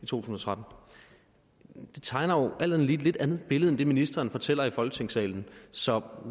tusind og tretten det tegner jo alt andet lige et lidt andet billede end det ministeren fortæller om i folketingssalen så